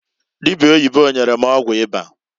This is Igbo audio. Dibia oyibo nyere ọgwụ ịba.